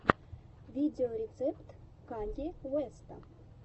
видеорецепт канье уэста